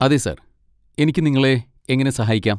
അതെ, സർ, എനിക്ക് നിങ്ങളെ എങ്ങനെ സഹായിക്കാം?